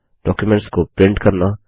documents को print करना